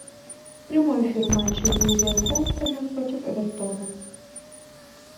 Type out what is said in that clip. прямой эфир матча вулверхэмптона против эвертона